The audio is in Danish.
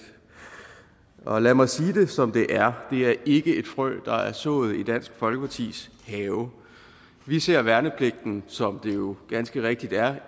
og lad mig sige det som det er det er ikke et frø der er sået i dansk folkepartis have vi ser værnepligten som det den jo ganske rigtigt er